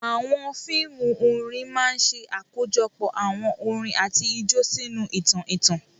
Àwọn fíìmù orin máa ń ṣe àkójọpọ̀ àwọn orin àti ijó sínú ìtàn ìtàn.